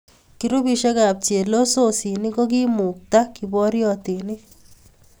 Groupisyekab chelososinik kokiimukta kiboryotinik.